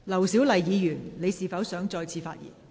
劉小麗議員，你是否想再次發言？